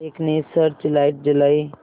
एक ने search light जलाई